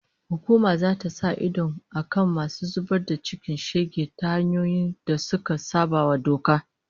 Hukuma zata sa idon akan masu zubar da cikin shege ta hanyoyin da suka sabawa doka